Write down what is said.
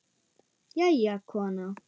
Jæja, kona.